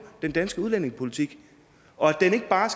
den danske udlændingepolitik og at den ikke bare